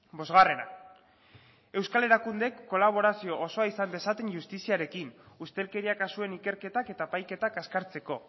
bosgarrena euskal erakundeek kolaborazio osoa izan dezaten justiziarekin ustelkeria kasuen ikerketak eta epaiketak azkartzeko